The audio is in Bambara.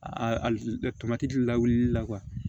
A tamati di la wulili la